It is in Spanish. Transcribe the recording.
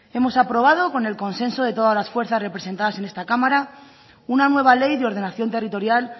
hemos aprobado con el consenso de todas las fuerzas representadas en esta cámara una nueva ley de ordenación territorial